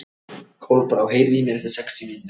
Kolbrá, heyrðu í mér eftir sextíu mínútur.